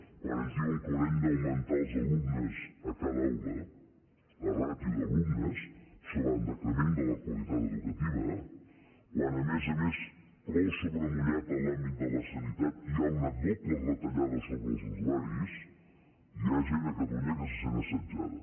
quan ens diuen que haurem d’augmentar els alumnes a cada aula la ràtio d’alumnes això va en decrement de la qualitat educativa quan a més a més plou sobre mullat en l’àmbit de la sanitat i hi ha una doble retallada sobre els usuaris hi ha gent a catalunya que se sent assetjada